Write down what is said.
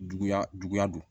Juguya juguya don